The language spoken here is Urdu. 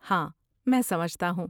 ہاں، میں سمجھتا ہوں۔